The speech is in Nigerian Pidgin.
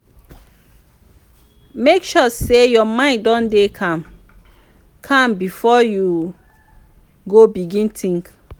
mek sure sey yur mind don dey calm calm bifor yu go begin tink